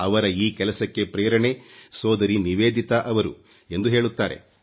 ಅವರ ಈ ಕೆಲಸಕ್ಕೆ ಪ್ರೇರಣೆ ಸೋದರಿ ನಿವೇದಿತಾ ಅವರು ಎಂದು ಹೇಳುತ್ತಾರೆ